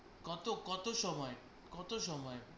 কত? কত সময়?